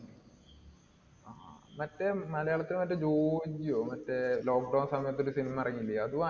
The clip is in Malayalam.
മറ്റേ മലയാളത്തിൽ മറ്റേ ജോജിയോ മറ്റേ lockdown സമയത് ഒരു cinema എറങ്ങീലെ, അത് ഭയങ്കര